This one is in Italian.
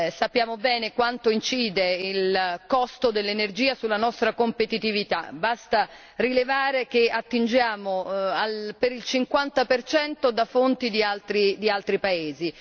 Sappiamo bene quanto incide il costo dell'energia sulla nostra competitività, basta rilevare che attingiamo per il 50 percento da fonti di altri paesi.